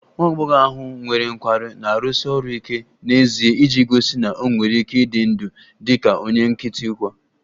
Nwa agbọghọ ahụ nwere nkwarụ na-arụsi ọrụ ike n'ezie iji gosi na ọ nwere ike ịdị ndụ dị ka onye nkịtị kwa